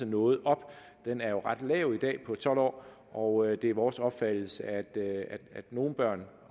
noget op den er jo ret lav i dag på tolv år og det er vores opfattelse at nogle børn